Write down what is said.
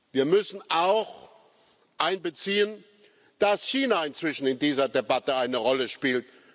Wir müssen auch einbeziehen, dass China inzwischen in dieser Debatte eine Rolle spielt.